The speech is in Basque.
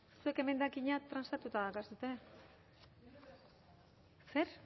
zuen emendakina transatuta daukazue zer